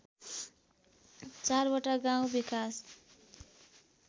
चारवटा गाउँ विकास